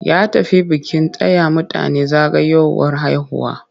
Ya tafi bikin taya mutane zagayowar haihuwa.